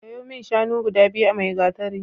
Sayo min shanu biyu a Maigatari.